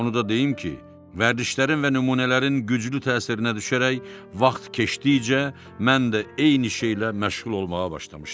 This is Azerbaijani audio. Onu da deyim ki, vərdişlərin və nümunələrin güclü təsirinə düşərək vaxt keçdikcə mən də eyni şeylə məşğul olmağa başlamışdım.